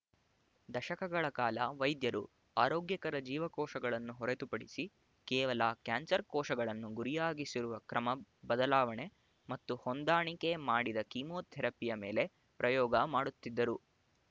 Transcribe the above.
ದಶಕಗಳ ಕಾಲ ವೈದ್ಯರು ಆರೋಗ್ಯಕರ ಜೀವಕೋಶಗಳನ್ನು ಹೊರತುಪಡಿಸಿ ಕೇವಲ ಕ್ಯಾನ್ಸರ್ ಕೋಶಗಳನ್ನು ಗುರಿಯಾಗಿಸಿರುವ ಕ್ರಮ ಬದಲಾವಣೆ ಮತ್ತು ಹೊಂದಾಣಿಕೆ ಮಾಡಿದ ಕೀಮೋಥೆರಪಿಯ ಮೇಲೆ ಪ್ರಯೋಗ ಮಾಡುತ್ತಿದ್ದರು